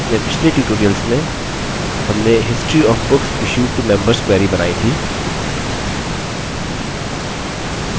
अपने पिछले tutorials में हमने history of books issued to members query बनाई थी